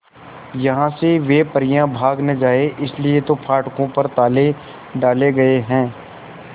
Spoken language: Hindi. यहां से वे परियां भाग न जाएं इसलिए तो फाटकों पर ताले डाले गए हैं